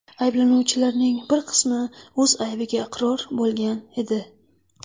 Ayblanuvchilarning bir qismi o‘z aybiga iqror bo‘lgan edi.